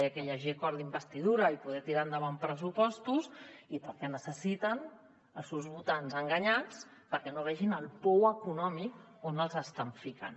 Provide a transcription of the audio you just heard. perquè hi hagi acord d’investidura i poder tirar endavant pressupostos i perquè necessiten els seus votants enganyats perquè no vegin el pou econòmic on els estan ficant